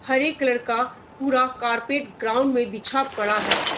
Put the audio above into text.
हरे colour का पूरा carpet ground में बिछा पड़ा है।